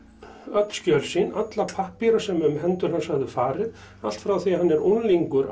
öll skjöl sín alla pappíra sem um hendur hans höfðu farið allt frá því hann er unglingur